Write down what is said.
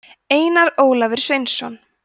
einar ólafur sveinsson